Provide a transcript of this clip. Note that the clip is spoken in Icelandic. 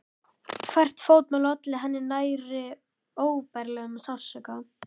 Hvert fótmál olli henni nærri óbærilegum sársauka.